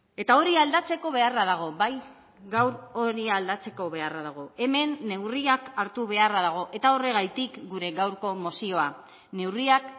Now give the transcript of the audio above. eta hori aldatzeko beharra dago bai gaur hori aldatzeko beharra dago hemen neurriak hartu beharra dago eta horregatik gure gaurko mozioa neurriak